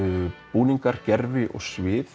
búningar gervi og svið